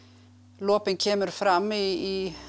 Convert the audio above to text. lopinn kemur fram í